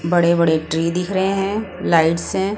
बड़े-बड़े ट्री दिख रहे हैं लाइट्स हैं।